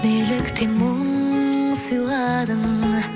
неліктен мұң сыйладың